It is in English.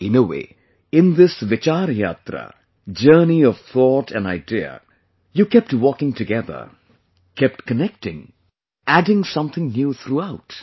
In a way, in this 'Vichar Yatra', journey of thought and idea, you kept walking together, kept connecting, adding something new throughout